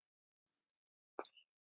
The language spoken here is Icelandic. Fyrir þig.